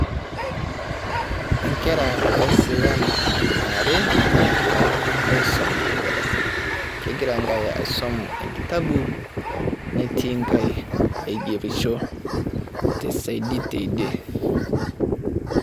Enkera eesijan are naagira aisuma te darasa kegira enkae aisum enkitabu netii nkae aigerisho tesiedi tidie.